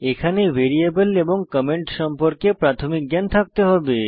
এখানে পর্লে ভ্যারিয়েবল এবং কমেন্ট সম্পর্কে প্রাথমিক জ্ঞান থাকতে হবে